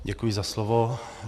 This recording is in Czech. Děkuji za slovo.